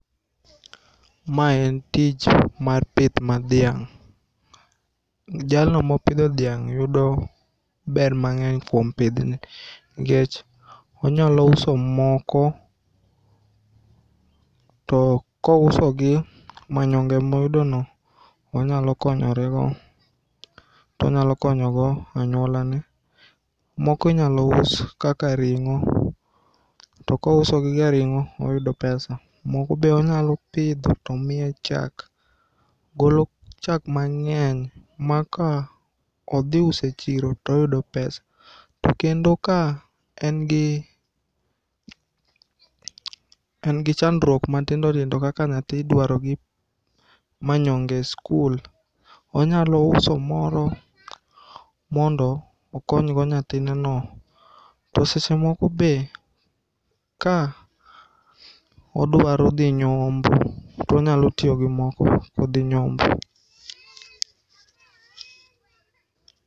Mae en tich mar pith mar dhiang', jalno ma opitho dhiang' yudo ber mang'eny kuom pithni, nikech onyalo uso moko to kousogi manyong'e moyudono onyalo konyorego, to onyalo konyogo anyuolane, moko inyal us kaka ring'o, to kousogi kaka ring'o to oyudo pesa, moko be onyalo pitho to miye chak, golo chak mang'eny maka othi uso e chiro to oyudo pesa, kendo ka en gi en gi chandruok matindo tindo ma kaka nyathi idwaro gi manyong'e e skul, onyalo uso moro mondo okonygo nyathineno, to sechemoko be ka odwaro dhi nyombo to onyalo tiyo gi moko kothi nyombo.